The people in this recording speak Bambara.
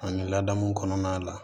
Ani laadamu kɔnɔna la